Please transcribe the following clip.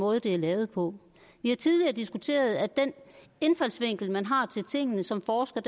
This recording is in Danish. måde det er lavet på vi har tidligere diskuteret at den indfaldsvinkel man har til tingene som forsker